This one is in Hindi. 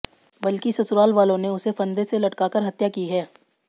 बल्कि ससुराल वालों ने उसे फंदे से लटका कर हत्या की है